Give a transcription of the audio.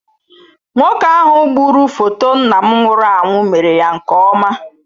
Nwoke ahụ gburu foto nna m nwụrụ anwụ mere ya nke ọma.